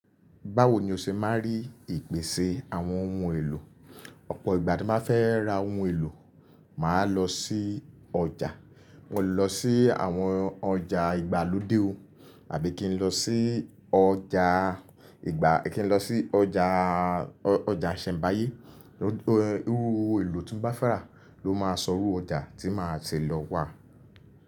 Báwo ni o ṣe máa rí ìpèsè àwọn ohun èlò? Ọ̀pọ̀ ìgbà tí máa fẹ́ ra ohun èlò, màá lọ sí ọjà. Mo lè lọ sí àwọn ọjà ìgbàlódé o àbí kí n lọ sí ọjà ìgbà kí n lọ sí ọjà, ọjà Iṣẹ̀nbáyé. Ohun èlò tin bá fẹrá ló máa sọrú ọjà tí màá ti lọ wà.